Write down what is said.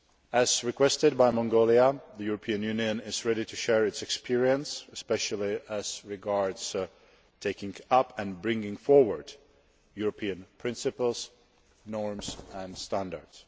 As requested by Mongolia, the European Union is ready to share its experience, especially as regards taking up and bringing forward European principles, norms and standards.